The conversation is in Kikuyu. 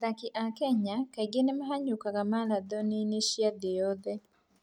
Athaki a Kenya kaingĩ nĩ mahanyũkaga marathoni-inĩ cia thĩ yothe.